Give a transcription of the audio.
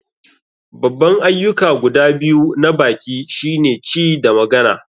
Babban ayyuka guda biyu na baki shine ci da magana.